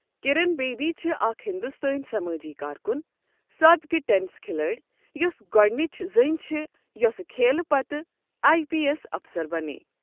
کِرَن بیدی چھ اَکھ ہندوستٲنؠ سمٲجی کارکُن، سٲبقہٕ ٹینس کھلٲڑۍ یۄس گۄڈٕنچ زٔنۍ چھِ یوۄسٕہ کھیل پَتہٕ ایی پی ایٚس اَفسَر بنے۔